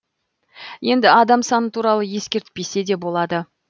енді адам саны туралы ескертпесе де болады